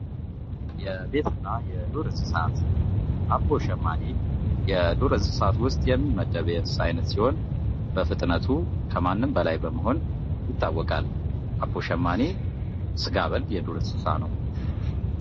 የቤትና የዱር እንስሳት አቦ ሸማኔ የዱር እንስሳት ውስጥ የሚመደብ የእንስሳ አይነት ሲሆን፤ በፍጥነቱ ከማንም በላይ በመሆን ይታወቃል። አቦ ሸማኔ ሥጋ በል የዱር እንስሳ ነው።